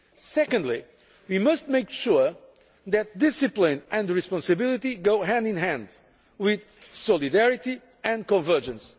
Secondly, we must make sure that discipline and responsibility go hand in hand with solidarity and convergence.